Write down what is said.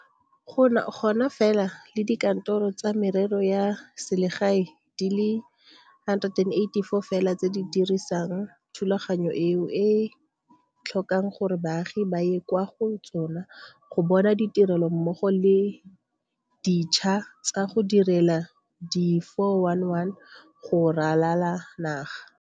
Mo mafapheng a mangwe di-DG, di-HoD le batsamaisi ba bangwe ba bagolwane ba kgonne go tsetsepela mo pakeng ya bona ya tsamaiso ya lefapha, mme seno se ba kgontshitse go tsamaisa lefapha ntle le kgoreletso epe.